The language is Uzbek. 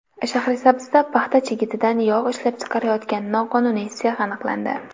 Shahrisabzda paxta chigitidan yog‘ ishlab chiqarayotgan noqonuniy sex aniqlandi.